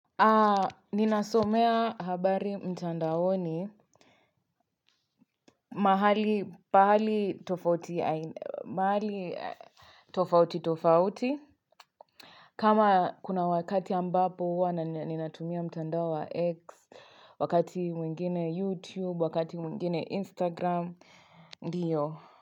Ninasomea habari mtandaoni mahali tofauti tofauti kama kuna wakati ambapo huwa ninatumia mtandao wa x wakati mwingine youtube wakati mwingine instagram ndiyo.